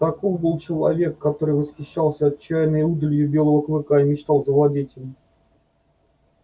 таков был человек который восхищался отчаянной удалью белого клыка и мечтал завладеть им